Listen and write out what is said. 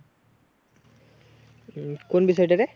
উম কোন বিষয় টা রে